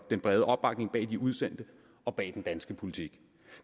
den brede opbakning bag de udsendte og bag den danske politik